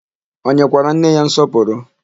O nyekwara nne ya nsọpụrụ?